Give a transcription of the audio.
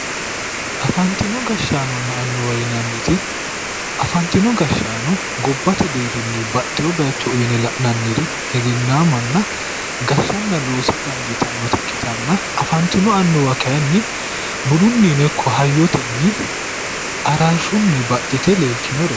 Afantino gashshaanonna annuwa yinanniti. afantino gashshaano gobbate deerrinni baxxewo baayiicho uuyiine la'nanniri egennaamanna gashshanna loosa dandiitannota ikkitanna afantino annuwa kaayiinni budunnino ikko hayyotenni araarshshunni baxxite leeltinoreeti.